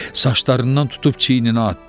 Saçlarından tutub çiyninə atdı.